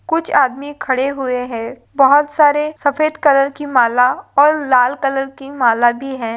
कुछ आदमी खड़े हुए है बहोत सारे सफ़ेद कलर की माला और लाल कलर की माला भी है।